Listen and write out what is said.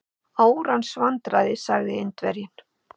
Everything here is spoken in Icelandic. Árans vandræði sagði Indverjinn.